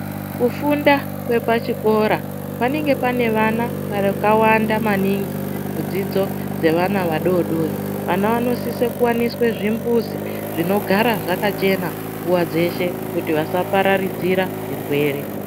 Kufunda kwepachikora panenge pane vana akawanda maningi dzidzo dzevana vadodori vana vanosiso kuwaniswe zvimbuzi zvinogara zvakachena nguwa dzeshe kuti vasaparadzira zvirwere.